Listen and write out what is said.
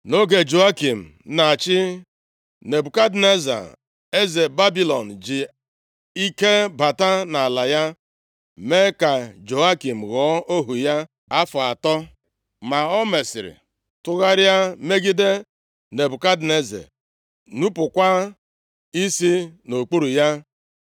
Nʼoge Jehoiakim na-achị, Nebukadneza eze Babilọn ji ike bata nʼala ya, mee ka Jehoiakim ghọọ ohu ya afọ atọ. Ma o mesịrị tụgharịa megide Nebukadneza, nupukwa isi nʼokpuru ya.